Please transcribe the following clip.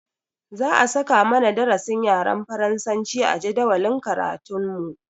Za a saka mana darasin yaren faransa a jadawalin karatun mu